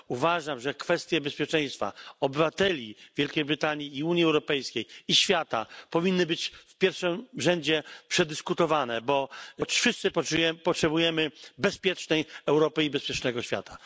Uważam, że kwestie bezpieczeństwa obywateli Wielkiej Brytanii, Unii Europejskiej i świata powinny być w pierwszym rzędzie przedyskutowane, bo wszyscy potrzebujemy bezpiecznej Europy i bezpiecznego świata.